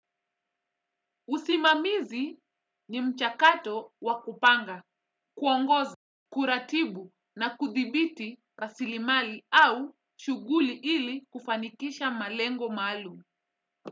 Usimamizi ni mchakato wa kupanga, kuongoza, kuratibu na kudhibiti rasilimali au shuguli ili kufanikisha malengo maalum.